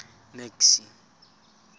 max